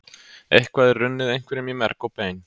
Eitthvað er runnið einhverjum í merg og bein